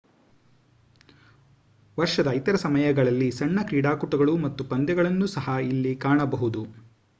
ವರ್ಷದ ಇತರ ಸಮಯಗಳಲ್ಲಿ ಸಣ್ಣ ಕ್ರೀಡಾಕೂಟಗಳು ಮತ್ತು ಪಂದ್ಯಗಳನ್ನು ಸಹ ಇಲ್ಲಿ ಕಾಣಬಹುದು